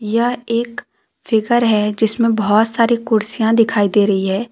यह एक फिगर है जिसमें बहोत सारी कुर्सियां दिखाई दे रही है।